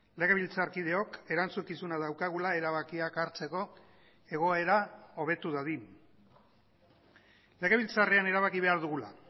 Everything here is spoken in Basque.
legebiltzarkideok erantzukizuna daukagula erabakiak hartzeko egoera hobetu dadin legebiltzarrean erabaki behar dugula